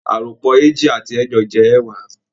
Àròpọ̀ eéjì àti ẹẹ́jọ jẹ́ ẹẹ́wàá